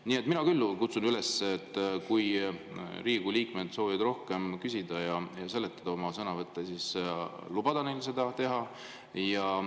Nii et mina küll kutsun üles, et kui Riigikogu liikmed soovivad rohkem küsida ja seletada oma sõnavõttudes, siis tuleks lubada neil seda teha.